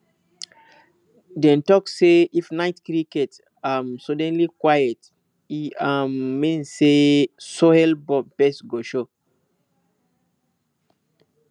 dem talk say if night crickets um suddenly quiet e um mean say soilborne pests go show